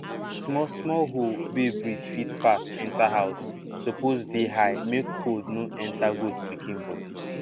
small small hole wey breeze fit pass enter house suppose dey high make cold no enter goat pikin body